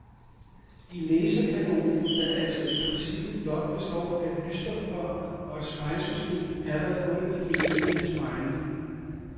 I laserkanonen, der altså i princippet blot består af et lysstofrør og et spejlsystem, er der et hul i det ene af spejlene.